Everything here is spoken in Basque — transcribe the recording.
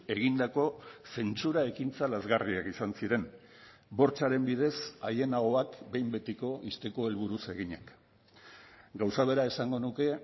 egindako zentsura ekintza lazgarriak izan ziren bortxaren bidez haien ahoak behin betiko ixteko helburuz eginak gauza bera esango nuke